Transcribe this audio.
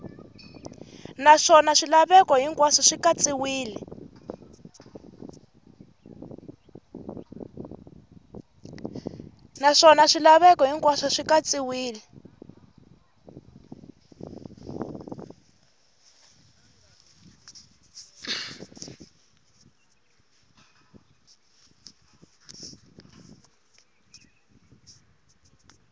naswona swilaveko hinkwaswo swi katsiwile